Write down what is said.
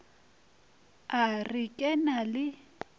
a re ke na le